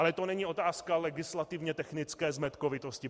Ale to není otázka legislativně technické zmetkovitosti.